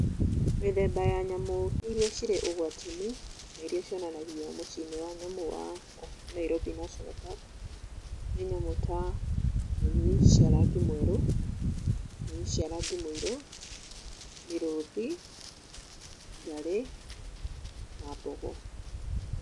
Mĩthemba ya nyamũ iria cirĩ ũgwati-inĩ na irĩa cionanagio mũciĩ-inĩ wa nyamũ wa Nairobi National Park nĩ nyamũ ta munyi cia rangi mwerũ, munyi cia rangi mũirũ, mĩrũthi, ngarĩ na mbogo.